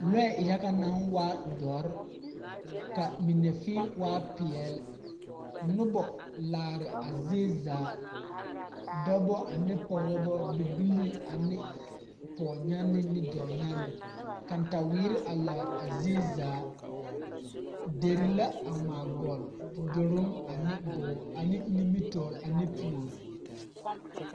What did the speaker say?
Lɔɛ yaga naŋ waa doɔre ka mine fēē waa peɛɛl nobɔ laare a zie zaa dɔbɔ ane pɔgebilii ane pɔɔbyanne ne dɔɔnyanne kantaweere a laare a zie zaa derre la a ngmaa gɔlle duruŋ ane gɔɔ ane nimitoore ane puore.